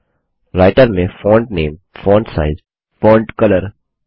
writer में font nameफॉन्ट name font sizeफॉन्ट साइज फोंट colorफॉन्ट कलर